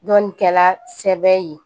Dɔnnikɛla sɛbɛn ye